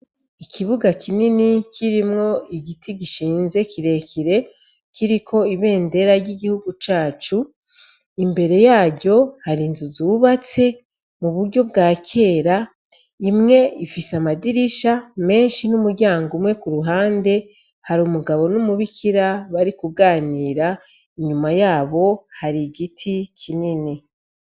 Ikibuga kinini kirimwo igiti gishinze kirekire kiriko ibendera ry'igihugu cacu. Imbere yaryo har inzu zubatse mu buryo bwa kera; imwe ifise amadirisha menshi n'umuryango umwe. Ku ruhande hari umugabo n'umubikira bariko baraganira, inyuma yabo hari igiti kinini.